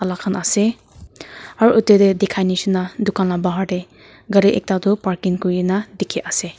khan ase aru etu te dekha jisna dukan laga bahar te gari ekta tu parking kori kina ase.